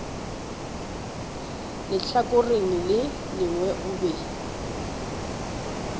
lehlakoreng le lengwe o be